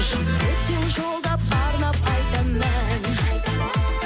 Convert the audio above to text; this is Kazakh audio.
жүректен жолдап арнап айтам ән